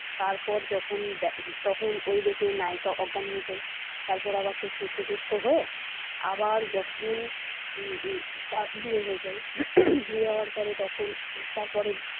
তারপর যখন ওই তখন ওই দেখে নায়িকা অজ্ঞান হয়ে যায় তারপর আবার সে সুস্থ হয়ে আবার যখন বিয়ে হয়ে যায় বিয়ে হওয়ার পরে তখন তারপরে।